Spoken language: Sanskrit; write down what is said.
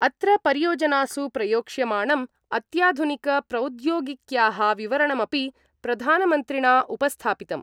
अत्र परियोजनासु प्रयोक्ष्यमाणं अत्याधुनिक प्रौद्योगिक्या: विवरणमपि प्रधानमन्त्रिणा उपस्थापितम्।